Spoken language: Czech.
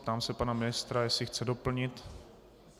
Ptám se pana ministra, jestli chce doplnit.